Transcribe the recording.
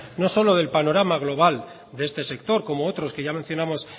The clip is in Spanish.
no solo del panorama global de este sector como otros que ya mencionamos